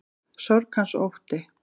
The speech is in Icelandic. Sorg hans og ótti.